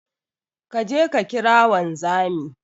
Kaje ka kira wanzami